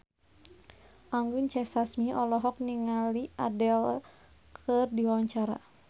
Anggun C. Sasmi olohok ningali Adele keur diwawancara